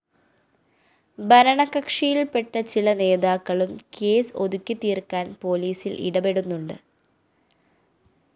ഭരണകക്ഷിയില്‍പ്പെട്ട ചില നേതാക്കളും കേസ് ഒതുക്കിത്തീര്‍ക്കാന്‍ പോലീസില്‍ ഇടപെടുന്നുണ്ട്